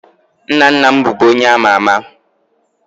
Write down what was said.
Nna nna m bụbu onye ama ama